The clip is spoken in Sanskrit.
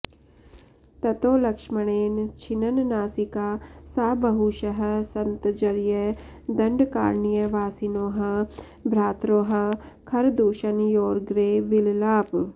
ततो लक्ष्मणेन छिन्ननासिका सा बहुशः सन्तर्ज्य दण्डकारण्यवासिनोः भ्रात्रोः खरदूषणयोरग्रे विललाप